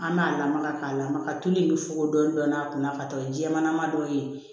An b'a lamaga k'a lamaga tulu in bɛ fogo dɔɔnin dɔɔnin a kunna ka taa jɛman dɔ ye